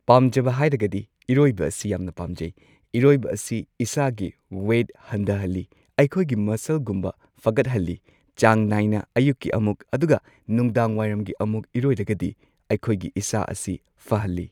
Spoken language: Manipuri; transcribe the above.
ꯄꯥꯝꯖꯕ ꯍꯥꯏꯔꯒꯗꯤ ꯏꯔꯣꯏꯕ ꯑꯁꯤ ꯌꯥꯝꯅ ꯄꯥꯝꯖꯩ꯫ ꯏꯔꯣꯏꯕ ꯑꯁꯤ ꯏꯁꯥꯒꯤ ꯋꯦꯠ ꯍꯟꯗꯍꯜꯂꯤ ꯑꯩꯈꯣꯢꯒꯤ ꯃꯁꯁꯜꯒꯨꯝꯕ ꯐꯒꯠꯍꯜꯂꯤ ꯆꯥꯡ ꯅꯥꯏꯅ ꯑꯌꯨꯛꯀꯤ ꯑꯃꯨꯛ ꯑꯗꯨꯒ ꯅꯨꯡꯗꯥꯡꯋꯥꯏꯔꯝꯒꯤ ꯑꯃꯨꯛ ꯏꯔꯣꯏꯔꯒꯗꯤ ꯑꯈꯣꯏꯒꯤ ꯏꯁꯥ ꯑꯁꯤ ꯐꯍꯜꯂꯤ꯫